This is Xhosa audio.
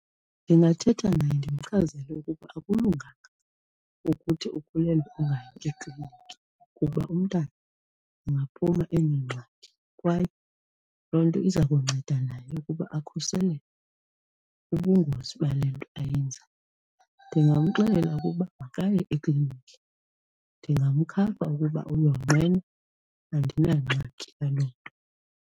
Ndingathetha naye ndimchazele ukuba akulunganga ukuthi ukhulelwe ungayi ekliniki kuba umntana angaphuma enengxaki kwaye loo nto iza kunceda naye ukuba akhuseleke kubungozi bale nto ayenzayo. Ndingamxelela ukuba makaye ekliniki. Ndingamkhapha ukuba uyonqena, andinangxaki yaloo nto.